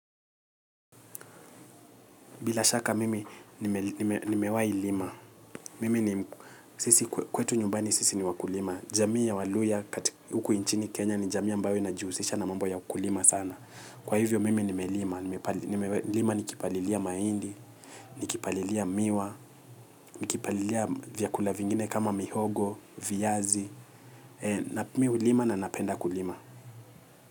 Bila shaka mimi ni mewahi lima. Mimi ni sisi kwetu nyumbani sisi ni wakulima. Jamii ya waluhya huku nchini kenya ni jamii ambayo inajihusisha na mambo ya ukulima sana kwahivyo mimi nimelima nime nimelima nikipalilia mahidi nikipalilia miwa nikipalilia vyakula vingine kama mihogo viazi mi hulima na ninapenda kulima.